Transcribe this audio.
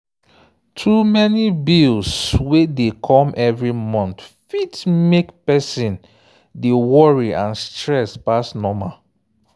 too many bills wey dey come every month fit mek person dey worry and stress pass normal.